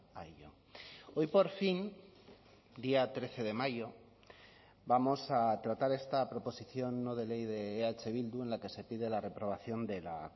a ello hoy por fin día trece de mayo vamos a tratar esta proposición no de ley de eh bildu en la que se pide la reprobación de la